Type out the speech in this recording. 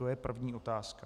To je první otázka.